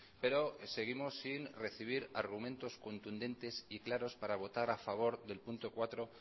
pero seguimos sin recibir argumentos contundentes y claros para votar a favor del punto cuatro